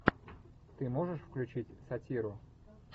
ты можешь включить сатиру